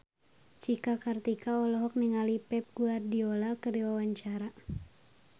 Cika Kartika olohok ningali Pep Guardiola keur diwawancara